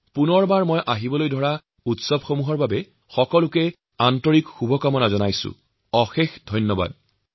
পুনৰবাৰ আপোনালোকৰ সকলোকে আগন্তুক সকলো উৎসৱৰ বহুত বহুত শুভকামনা জনাইছো বহুত বহুত ধন্যবাদ